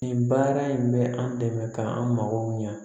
Nin baara in bɛ an dɛmɛ k'an mago ɲɛ